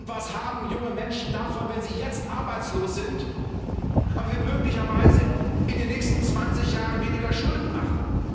Was haben junge Menschen davon, wenn sie jetzt arbeitslos sind, aber wir möglicherweise in den nächsten 20 Jahren weniger Schulden machen?